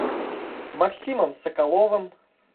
максимом соколовым